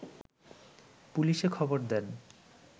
পুলিশে খবর দেন